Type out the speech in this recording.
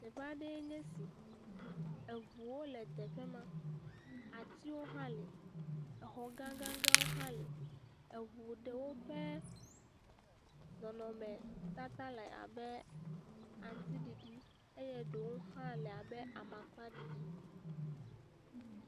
Teƒe aɖee nye esi eŋuwo le teƒe ma. Atiwo hã li. Exɔ gãgãgãwo hã li. Eŋu ɖewo ƒe nɔnɔmetata le abe aŋtiɖiɖi eye ɖewo hã le abe amakpaɖiɖi.